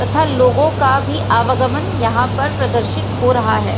तथा लोगो का भी आवागमन यहाँ पर प्रदर्शित हो रहा है।